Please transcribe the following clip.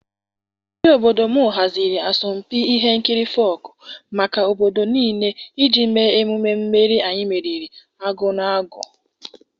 Ndị obodo m haziri asọmpi ihe nkiri folk maka obodo niile iji mee emume mmeri anyị meriri agụụ na agụụ.